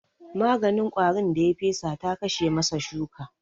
Maganin ƙwarin da ya fesa ta kashe masa shuka